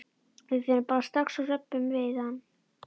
Við förum bara strax og röbbum við hann.